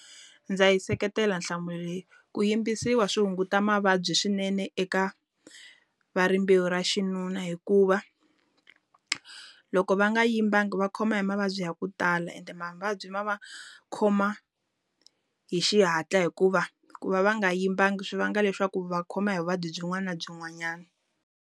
Ndza yi seketela nhlamulo leyi. Ku yimbisiwa swi hunguta mavabyi swinene eka va rimbewu ra xinuna. Hikuva, loko va nga yimbanga va khoma hi mavabyi ya ku tala ende mavabyi ma va khoma hi xihatla. Hikuva ku va va nga yimbanga swi vanga leswaku va khoma hi vuvabyi byin'wana na byin'wanyana.